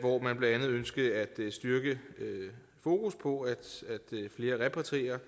hvor man blandt andet ønskede at styrke fokus på at flere repatrierer